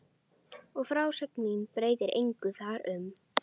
Og frásögn mín breytir engu þar um.